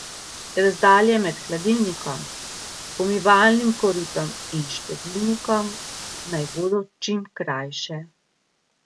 Razdalje med hladilnikom, pomivalnim koritom in štedilnikom naj bodo čim krajše.